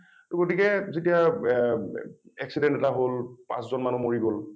টো গতিকে যেতিয়া এ accident এটা হল পাঁচজন মানুহ মৰি গল